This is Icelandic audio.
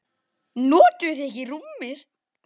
Notuðuð þið ekki rúmið?